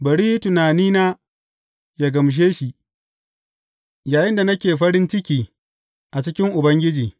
Bari tunanina yă gamshe shi, yayinda nake farin ciki a cikin Ubangiji.